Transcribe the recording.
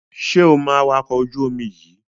Ṣé o mọ awakọ̀ ojú-omi yíì?